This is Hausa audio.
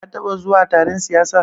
Ka taɓa zuwa taron siyasa?